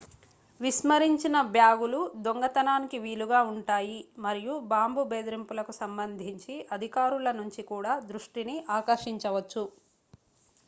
విస్మరించిన బ్యాగులు దొంగతనానికి వీలుగా ఉంటాయి మరియు బాంబు బెదిరింపులకు సంబంధించి అధికారుల నుంచి కూడా దృష్టిని ఆకర్షించవచ్చు